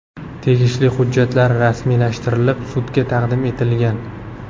Tegishli hujjatlar rasmiylashtirilib, sudga taqdim etilgan.